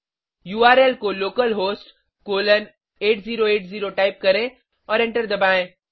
URL को localhost colon 8080 type करें और एंटर दबाएं